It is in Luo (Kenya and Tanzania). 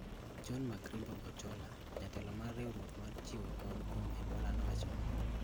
John-Markrimbo Ochola, jatelo mar riwruok mar chiwo kony kuom Ebola nowacho ni